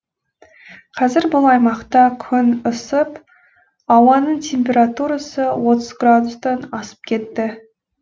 қазір бұл аймақта күн ысып ауаның температурасы отыз градустан асып кетті